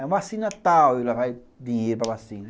É uma vacina tal, eu levava dinheiro para vacina.